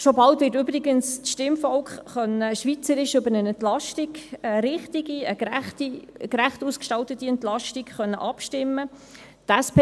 Schon bald wird übrigens das Stimmvolk schweizweit über eine richtige, gerecht ausgestaltete Entlastung abstimmen können.